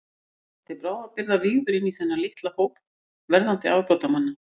Ég var til bráðabirgða vígður inní þennan litla hóp verðandi afbrotamanna.